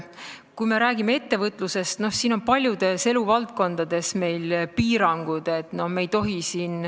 Kui me räägime ettevõtlusest, siin paljudes eluvaldkondades on meil piirangud.